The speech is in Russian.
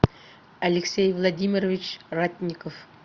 алексей владимирович ратников